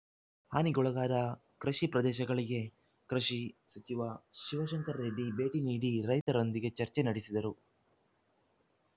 ಹಾನಿಗೊಳಗಾದ ಕೃಷಿ ಪ್ರದೇಶಗಳಿಗೆ ಕೃಷಿ ಸಚಿವ ಶಿವಶಂಕರ್ ರೆಡ್ಡಿ ಭೇಟಿ ನೀಡಿ ರೈತರೊಂದಿಗೆ ಚರ್ಚೆ ನಡೆಸಿದರು